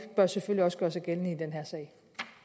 bør selvfølgelig også gøre sig gældende i den her sag